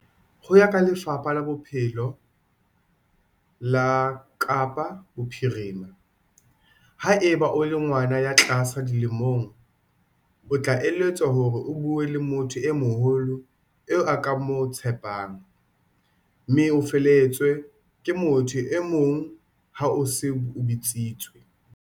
Ho ya ka Lefapha la Bophelo la Kapa Bophirima, haeba o le ngwana ya tlase dilemong, o tla eletswa hore o bue le motho e moholo eo o ka mo tshepang, mme o felehetswe ke motho e mong ha o se o bitsitswe.